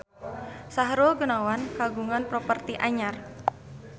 Sahrul Gunawan kagungan properti anyar